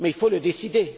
Mais il faut le décider.